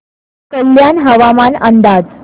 कल्याण हवामान अंदाज